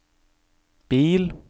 bil